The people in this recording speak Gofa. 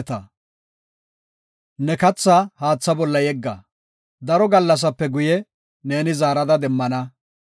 Ne kathaa haatha bolla yegga; daro gallasape guye neeni zaarada demmana.